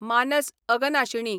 मानस अगनशिणी